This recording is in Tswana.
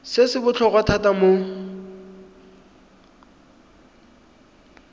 se se botlhokwa thata mo